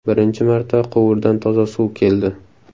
Birinchi marta quvurdan toza suv keldi.